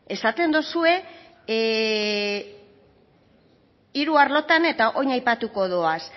esaten dozue hiru arlotan eta orain aipatuko ditut